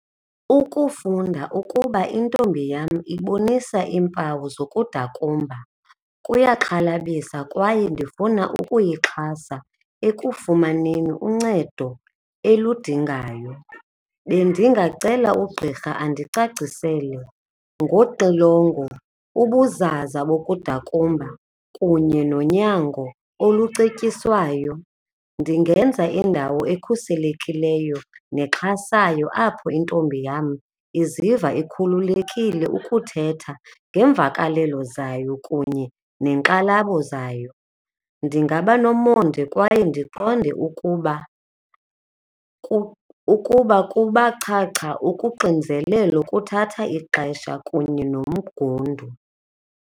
Ukufunda ukuba intombi yam ibonisa iimpawu zokudakumba kuyaxhalabisa kwaye ndifuna ukuyixhaza ekufumaneni uncedo eludingayo. Bendingacela ugqirha andicacisele ngoxilongo, ubuzaza bokudakumba kunye nonyango olucetyiswayo. Ndingenza indawo ekhuselekileyo nexhasayo apho intombi yam iziva ikhululekile ukuthetha ngeemvakalelo zayo kunye neenkxalabo zayo. Ndingaba nomonde kwaye ndiqonde ukuba kuba chacha ukuxinzelelo kuthatha ixesha kunye nomgundu.